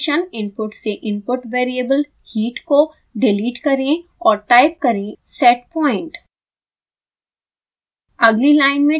proportional function input से input variable heat को delete करें और टाइप करें setpoint